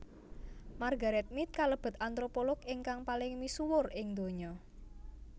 Margaret Mead kalebet antropolog ingkang paling misuwur ing donya